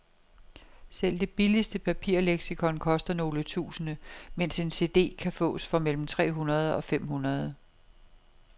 Selv det billigste papirleksikon koster nogle tusinde, mens en cd kan fås for mellem tre hundrede og fem hundrede.